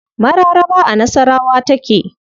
Mararaba a nasawara take.